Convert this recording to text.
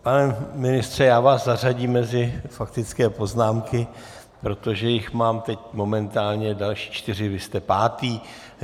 Pane ministře, já vás zařadím mezi faktické poznámky, protože jich mám teď momentálně další čtyři, vy jste pátý.